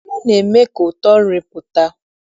Nnu na-eme ka ụtọ nri pụta.